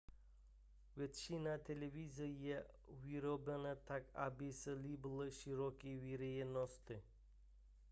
většina televizí je vyrobena tak aby se líbila široké veřejnosti